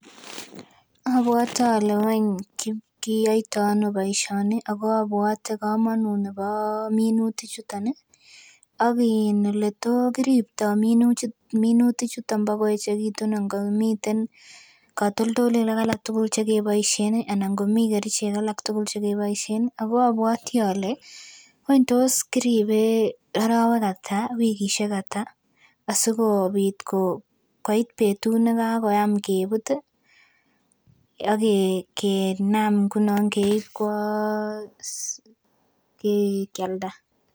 Abwote ole wany kiyoito ano boisioni ako abwote komonut nebo minutik chuton ih ak in eleto kiriptoo minutik chuton bakoechekitun, ngomiten katoltolik alak tugul chekeboisien ih anan ngomii kerichek alak tugul chekeboisien ako abwoti ole wany tos kiribe arowek ata, wikisiek ata asikobit koit betut nekakoyam kebut ih akenam ngunon keib kwo um kialda